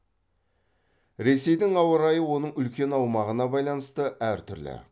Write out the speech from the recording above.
ресейдің ауа райы оның үлкен аумағына байланысты әр түрлі